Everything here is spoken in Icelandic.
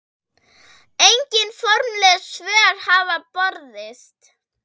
Engin formleg svör hafa borist.